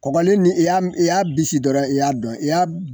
Kɔgɔlen i y'a bisi dɔrɔ i y'a dɔn i y'a